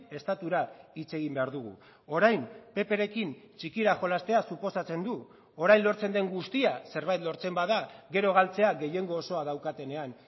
estatura hitz egin behar dugu orain pprekin txikira jolastea suposatzen du orain lortzen den guztia zerbait lortzen bada gero galtzea gehiengo osoa daukatenean